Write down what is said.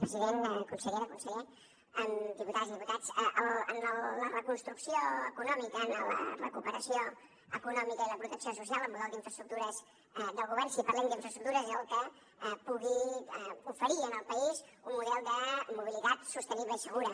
president consellera conseller diputades i diputats en la reconstrucció econòmica en la recuperació econòmica i la protecció social el model d’infraestructures del govern si parlem d’infraestructures és el que pugui oferir al país un model de mobilitat sostenible i segura